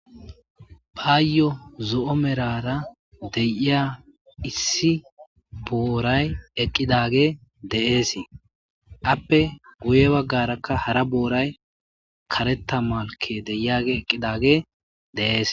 paayyo zo7o merara deyiya issi booray eqqidage de7eesii appe guye baggarakka hara booray karetta malke deyage eqqidage de7ees